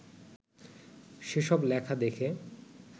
সেসব লেখা দেখে